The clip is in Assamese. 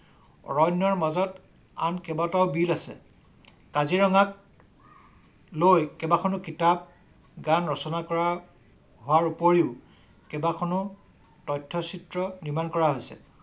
অৰণ্যৰ মাজত আন কেবাটাও বিল আছে। কাজিৰঙাক লৈ কেবাখনো কিতাপ গান ৰচনা কৰা হোৱাৰ উপৰিও কেবাখনো তথ্য-চিত্ৰ নিৰ্মাণ কৰা হৈছে।